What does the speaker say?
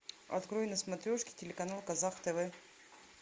открой на смотрешке телеканал казах тв